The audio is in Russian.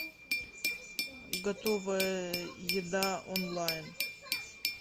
готовая еда онлайн